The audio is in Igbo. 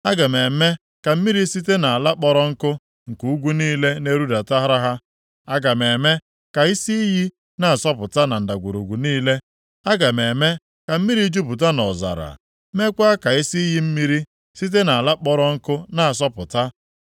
Aga m eme ka mmiri site nʼala kpọrọ nkụ nke ugwu niile na-erudatara ha. Aga m eme ka isi iyi na-asọpụta na ndagwurugwu niile. Aga m eme ka mmiri jupụta nʼọzara, meekwa ka isi iyi mmiri site nʼala kpọrọ nkụ na-asọpụta.